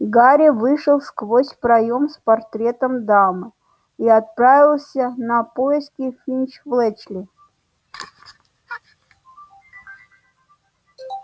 гарри вышел сквозь проем с портретом дамы и отправился на поиски финч-флетчли